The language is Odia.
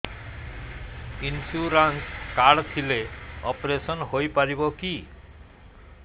ଇନ୍ସୁରାନ୍ସ କାର୍ଡ ଥିଲେ ଅପେରସନ ହେଇପାରିବ କି